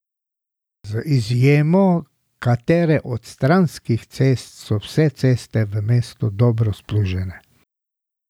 Z izjemo katere od stranskih cest so vse ceste v mestu dobro splužene.